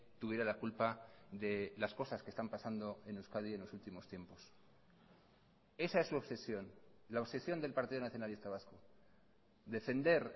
tuviera la culpa de las cosas que están pasando en euskadi en los últimos tiempos esa es su obsesión la obsesión del partido nacionalista vasco defender